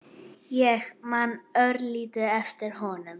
Ég man örlítið eftir honum.